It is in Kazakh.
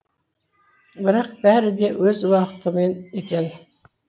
бірақ бәрі де өз уақытымен екен